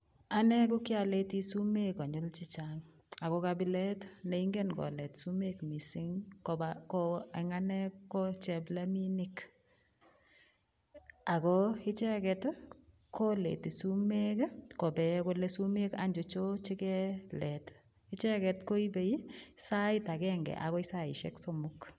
Anne ko kialeti sumek konyil che chang ago kabilet ne ingen kolet sumek mising kopa ko eng anne ko chepleminik. Ago icheget, koleti sumek kopee kole sumek anyacho chekelet. Icheget koipei sait agenge agoi saisiek somok.